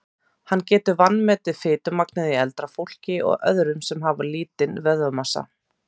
Hann getur vanmetið fitumagnið í eldra fólki og öðrum sem hafa lítinn vöðvamassa.